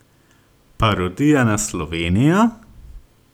Parodija na Slovenijo?